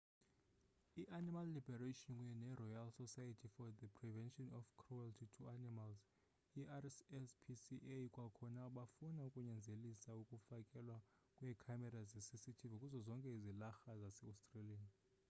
i-animal liberation kunye neroyal society for the prevention of cruelty to animals i-rspca kwakhona bafuna ukunyanzelisa ukufakelwa kweekhamera zecctv kuzo zonke izilarha zaseaustralia